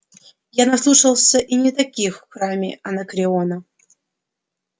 я наслушался и не таких в храме анакреона